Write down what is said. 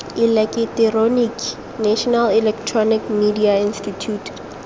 eleketeroniki national electronic media institute